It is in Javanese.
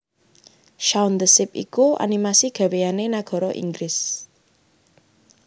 Shaun the Sheep iku animasi gaweyane nagara Inggris